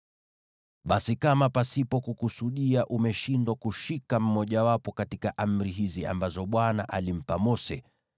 “ ‘Basi kama pasipo kukusudia umeshindwa kushika mojawapo katika amri hizi ambazo Bwana alimpa Mose,